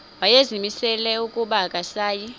wayezimisele ukuba akasayi